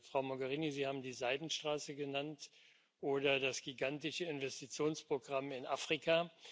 Frau Mogherini, Sie haben die Seidenstraße genannt oder das gigantische Investitionsprogramm in Afrika.